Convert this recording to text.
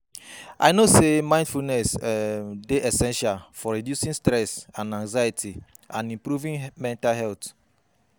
I know say mindfulness um dey essential for reducing stress and anxiety and improving mental health.